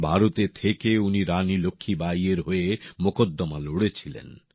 ভারতে থেকে উনি রানী লক্ষ্মীবাঈএর হয়ে এই মোকদ্দমা লড়েছিলেন